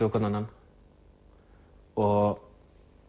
á hvorn annan og